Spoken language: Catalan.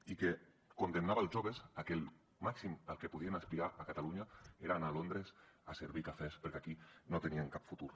i condemnava els joves a que el màxim a que podien aspirar a catalunya era a anar a londres a servir cafès perquè aquí no tenien cap futur